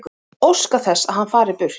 Óska þess að hann fari burt.